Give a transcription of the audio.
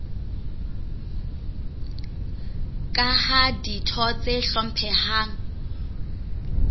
ka ha ditho tse hlomphehang